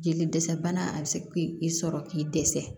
Jeli dɛsɛ bana a bɛ se k'i sɔrɔ k'i dɛsɛ